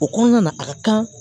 O kɔnɔna na a ka kan